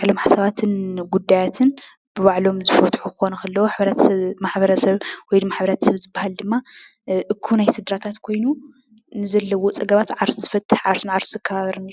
ባዕሎም ሓሳባትን ጉዳያትን ብባዕሎም ዝፈትሑ ክኾኑ ከለዉ። ማሕብረሰብ ወይ ሕብረተሰብ ዝባሃል ድማ አኩብ ናይ ስድራታት ኮይኑ ንዘለዎ ፀገማት ዓርሱ ዝፈትሕ ዓርሱ ንዓርሱ ዝካባበርን እዩ፡፡